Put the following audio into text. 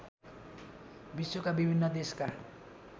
विश्वका विभिन्न देशका